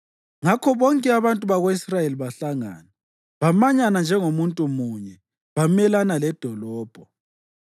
Ngakho bonke abantu bako-Israyeli bahlangana, bamanyana njengomuntu munye bamelana ledolobho.